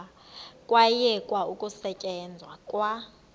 kwayekwa ukusetyenzwa kwa